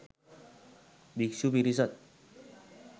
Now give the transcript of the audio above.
භික්ෂු පිරිසක්